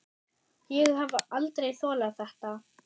Ég hef aldrei þolað þetta